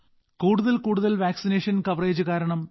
കൂടുതൽ കൂടുതൽ vaccination coverage കാരണം